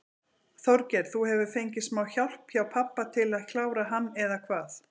Þorgeir: Þú hefur fengið smá hjálp hjá pabba til að klára hann eða hvað?